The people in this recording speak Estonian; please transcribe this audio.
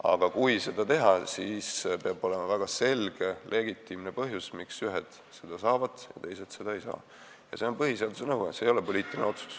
Aga kui seda lubada, siis peab olema väga selge legitiimne põhjus, miks ühed selle saavad ja teised seda ei saa – see on põhiseaduse nõue, see ei ole poliitiline otsus.